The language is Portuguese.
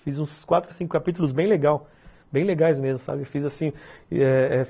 Fiz uns quatro, cinco capítulos bem legal, bem legais mesmo. Fiz assim, eh eh